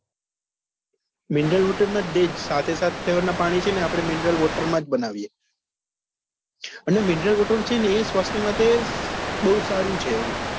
mineral water માં એ સાતે સાત flavour ના પાણી છે ને આપડે mineral water માં બનાવી અને mineral water છે ને સ્વાસ્થ્ય માટે બઉ સારું છે એમ